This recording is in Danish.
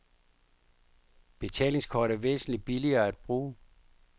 Betalingskort er væsentligt billigere at bruge.